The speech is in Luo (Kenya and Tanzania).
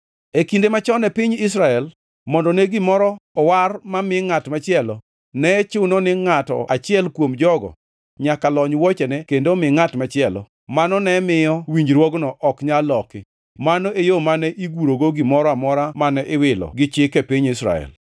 E kinde machon e piny Israel, mondo ne gimoro owar ma mi ngʼat machielo, ne chuno ni ngʼato achiel kuom jogo nyaka lony wuochene kendo omi ngʼat machielo, mano ne miyo winjruogno ok nyal loki. Mano e yo mane igurogo gimoro amora mane iwilo gi chik e piny Israel.